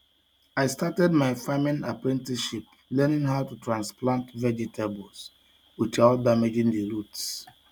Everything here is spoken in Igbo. I started my farming apprenticeship learning how to transplant vegetables without damaging the roots.